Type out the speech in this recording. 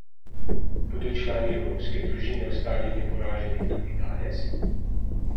Bodo člani evropske družine ostali neporaženi tudi danes?